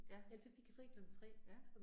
Ja. Ja